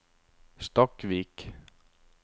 Stakkvik